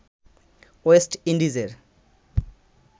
West ইন্ডিজের